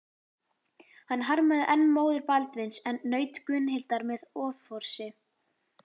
Hann harmaði enn móður Baldvins en naut Gunnhildar með offorsi.